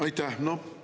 Aitäh!